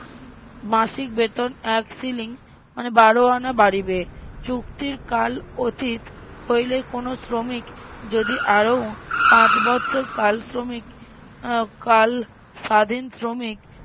মাসিক বেতন এক শিলিং মানে বারো আনা বাড়িবে চুক্তির কাল উচিত হইলে কোনো শ্রমিক যদি আরও পাঁচ বৎসর কাল শ্রমিক আহ কাল স্বাধিন শ্রমিক